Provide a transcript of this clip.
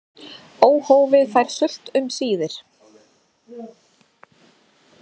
Óhófið fær sult um síðir.